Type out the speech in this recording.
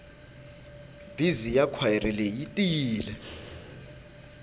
bizi ya khwayere leyi yi tiyile